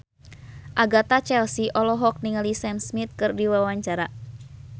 Agatha Chelsea olohok ningali Sam Smith keur diwawancara